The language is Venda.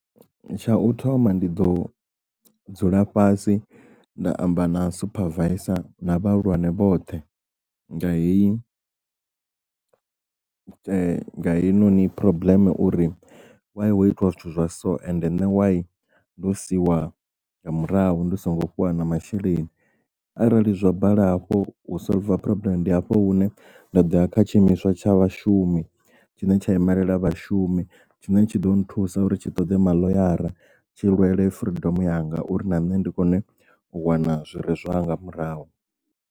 Tsha u thoma ndi ḓo dzula fhasi nda amba na supervisor na vhahulwane vhoṱhe nga heyi heinoni phurobuḽeme uri why ho itiwa zwithu zwa so ende ṋne why ndo siia nga murahu ndi songo fhiwa na masheleni arali zwa bala hafhu u solver phurobuḽeme ndi hafho hune nda doya kha tshiimiswa tsha vhashumi tshine tsha imelela vhashumi tshine tshi ḓo nthusa uri tshi ṱoḓe ma ḽoyara tshi lwele freedom yanga uri na nṋe ndi kone u wana zwire zwanga murahu.